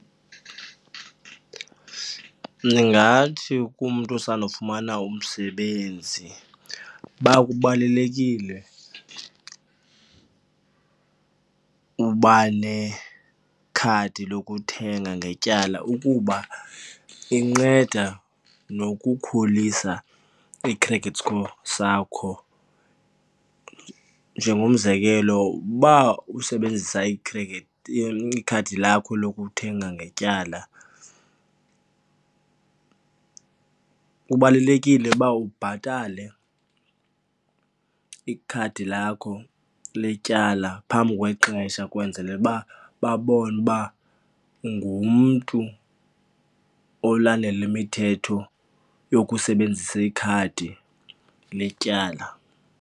Ndingathi kumntu osandofumana umsebenzi uba kubalulekile uba nekhadi lokuthenga ngetyala ukuba inceda nokukhulisa i-credit score sakho. Njengomzekelo uba usebenzisa ikhadi lakho lokuthenga ngetyala, kubalulekile uba ubhatale ikhadi lakho letyala phambi kwexesha kwenzele uba babone uba ungumntu olandela imithetho yokusebenzisa ikhadi letyala.